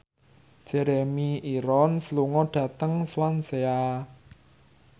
Jeremy Irons lunga dhateng Swansea